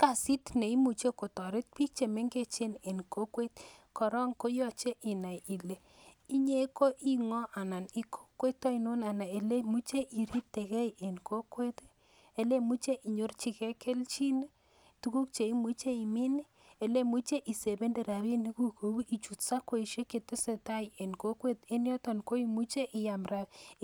Kasit neimuche kotoret bik chemengechen en kokwet ii korong koyoche inai ile inyee koingo en kokwet oinon anan elemuche iriptekee en kokwet ii elemuche inyorjigee keljin ii tuguk cheimuche imin ii, elemuche isebende rabinikuk ichut sakoishek chetesetaa en kokwet en yoton koimuche